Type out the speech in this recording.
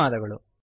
ಧನ್ಯವಾದಗಳು